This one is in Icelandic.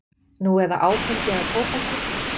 Nú eða áfengi eða tóbaki.